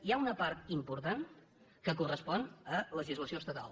hi ha una part important que correspon a legislació estatal